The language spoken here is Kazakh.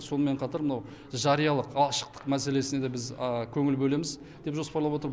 сонымен қатар мынау жариялық ашықтық мәселесіне де біз көңіл бөлеміз деп жоспарлап отыр